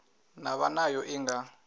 na vha nayo i nga